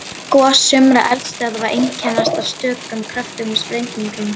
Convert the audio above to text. Gos sumra eldstöðva einkennast af stökum kröftugum sprengingum.